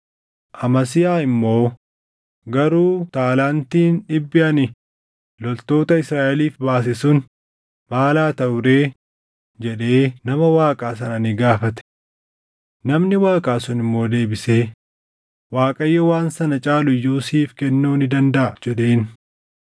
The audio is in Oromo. Amasiyaa immoo, “Garuu taalaantiin dhibbi ani loltoota Israaʼeliif baase sun maal haa taʼu ree?” jedhee nama Waaqaa sana ni gaafate. Namni Waaqaa sun immoo deebisee, “ Waaqayyo waan sana caalu iyyuu siif kennuu ni dandaʼa” jedheen.